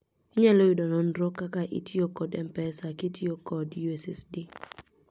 inyalo yudo nonro kaka itiyo kod mpesa kityo kod USSD